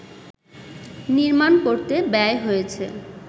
নির্মাণ করতে ব্যয় হয়েছে